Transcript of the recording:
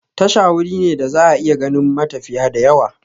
Tasha wuri ne da za'a iya ganin matafiya da yawa